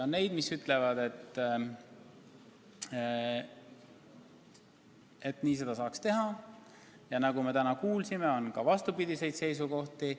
On inimesi, kes ütlevad, et seda saaks nii teha, ja nagu me täna kuulsime, on ka vastupidiseid seisukohti.